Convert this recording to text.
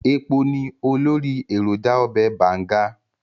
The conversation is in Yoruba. Ẹpo ni olórí èròjà ọbẹ̀ Bàǹga.